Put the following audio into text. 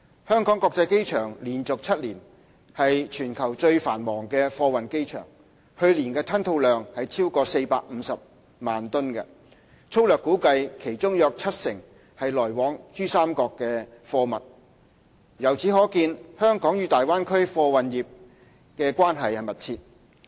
香港國際機場連續7年為全球最繁忙的貨運機場，去年吞吐量超過450萬噸，粗略估計其中約七成為來往珠三角的貨物。由此可見，香港與大灣區貨運業關係密切。